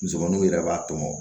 Musomaninw yɛrɛ b'a to mɔ